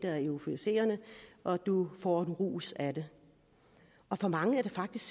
er euforiserende og at du får en rus af det for mange er det faktisk